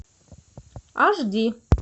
аш ди